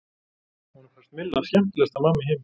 Honum fannst Milla skemmtilegasta mamma í heimi.